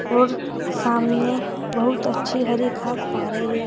और सामने बहुत अच्छी हरि घास आ रही है।